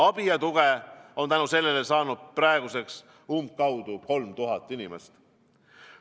Abi ja tuge on tänu sellele saanud praeguseks umbkaudu 3000 inimest.